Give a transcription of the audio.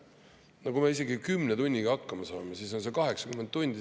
No kui me seekord isegi 10 tunniga hakkama saame, siis teeb see kokku ikka 80 tundi.